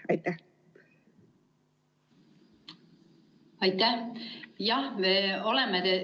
Aitäh!